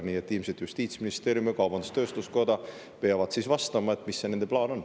Nii et ilmselt Justiitsministeerium ja kaubandus-tööstuskoda peavad siis vastama, mis see nende plaan on.